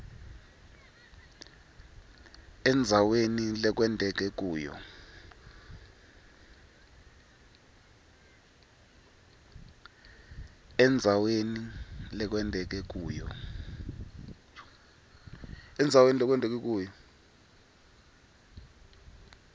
endzaweni lekwenteke kuyo